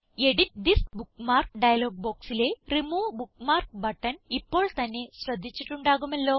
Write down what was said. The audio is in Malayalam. എഡിറ്റ് തിസ് ബുക്ക്മാർക്ക് ഡയലോഗ് ബോക്സിലെ റിമൂവ് ബുക്ക്മാർക്ക് ബട്ടൺ ഇപ്പോൾ തന്നെ ശ്രദ്ധിച്ചിട്ടുണ്ടാകുമല്ലോ